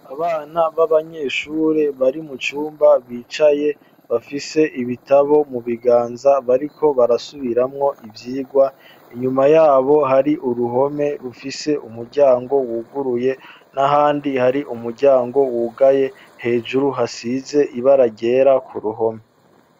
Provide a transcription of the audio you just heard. abana b'abanyeshuri bari mu cumba bicaye bafise ibitabo mu biganza bariko barasubiramwo ibyigwa inyuma yabo hari uruhome rufise umuryango wuguruye n'ahandi hari umuryango wugaye hejuru hasize ibara ryera ku ruhome